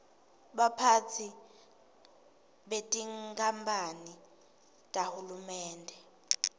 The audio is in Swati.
baphatsi betinkamphane tahulumende